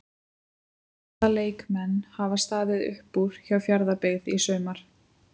Hvaða leikmenn hafa staðið upp úr hjá Fjarðabyggð í sumar?